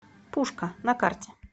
пушка на карте